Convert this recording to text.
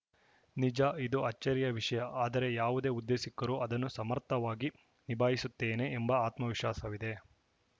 ನಿಜ ಇದು ಅಚ್ಚರಿಯ ವಿಷಯ ಆದರೆ ಯಾವುದೇ ಹುದ್ದೆ ಸಿಕ್ಕರೂ ಅದನ್ನು ಸಮರ್ಥವಾಗಿ ನಿಭಾಯಿಸುತ್ತೇನೆ ಎಂಬ ಆತ್ಮ ವಿಶ್ವಾಸವಿದೆ